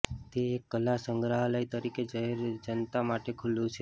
તે એક કલા સંગ્રહાલય તરીકે જાહેર જનતા માટે ખુલ્લું છે